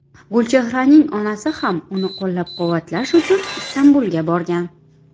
Gulchehraning onasi ham uni qo‘llab-quvvatlash uchun Istanbulga borgan.